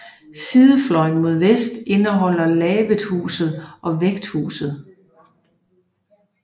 Sidefløjen mod vest indeholder lavethuset og Vægthuset